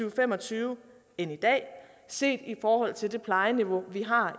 og fem og tyve end i dag set i forhold til det plejeniveau vi har